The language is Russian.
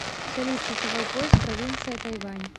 салют часовой пояс провинция тайвань